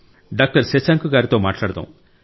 doctor Shashank గారితో మాట్లాడదాం